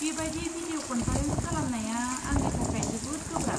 बेबायदि भिदिअ' कन्फारेन्स खालामनाया आंनि थाखाय जोबोद गोब्राब।